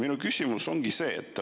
Minu küsimus on see.